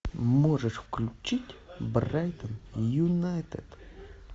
можешь включить брайтон юнайтед